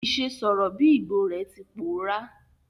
Ìse sọ̀rọ̀ bi Igbo re ti pòórá